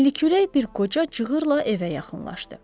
Enlikürək bir qoca cığırla evə yaxınlaşdı.